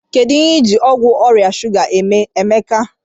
Kedu ihe ịji ọgwụ ọrịa shuga eme, Emeka?